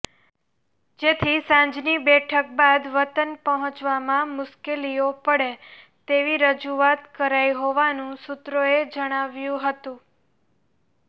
જેથી સાંજની બેઠક બાદ વતન પહોંચવામાં મુશ્કેલીઓ પડે તેવી રજૂઆત કરાઈ હોવાનું સૂત્રોએ જણાવ્યું હતું